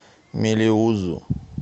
мелеузу